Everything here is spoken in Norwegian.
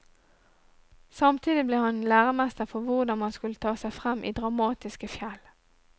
Samtidig ble han en læremester for hvordan man skulle ta seg frem i dramatiske fjell.